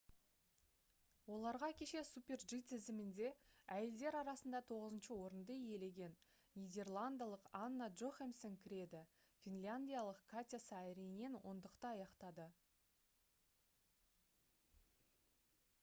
оларға кеше super-g тізімінде әйелдер арасында тоғызыншы орынды иелеген нидерландылық анна джохемсен кіреді финляндиялық катя сааринен ондықты аяқтады